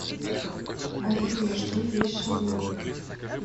афина что есть шаблон